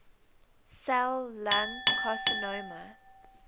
cell lung carcinoma